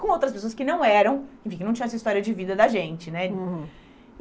Com outras pessoas que não eram, enfim, que não tinham essa história de vida da gente, né? Uhum.